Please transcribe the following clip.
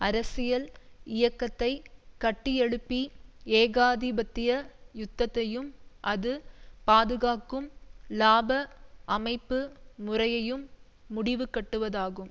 அரசியல் இயக்கத்தை கட்டியெழுப்பி ஏகாதிபத்திய யுத்தத்தையும் அது பாதுகாக்கும் இலாப அமைப்பு முறையையும் முடிவுகட்டுவதாகும்